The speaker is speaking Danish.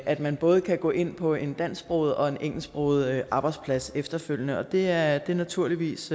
at man både kan gå ind på en dansksproget og en engelsksproget arbejdsplads efterfølgende og det er er naturligvis